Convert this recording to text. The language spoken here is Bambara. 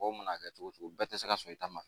Mɔgɔw mana kɛ cogo cogo bɛɛ tɛ se ka sɔn i ta ma